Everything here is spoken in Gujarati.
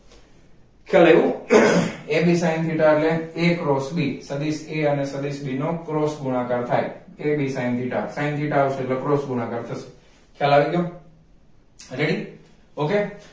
ખ્યાલ આવ્યો a b sin theta એટલે a cross b સદિશ a અને સદિશ b નો cross ગુણાકાર થાય AB sin theta sin theta આવશે એટલે cross ગુણાકાર થશે ખ્યાલ આવી ગ્યો ready okay